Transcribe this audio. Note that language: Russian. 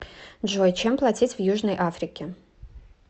джой чем платить в южной африке